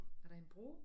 Er der en bro